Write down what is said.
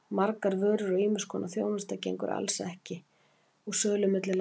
Margar vörur og ýmiss konar þjónusta gengur alls ekki kaupum og sölu milli landa.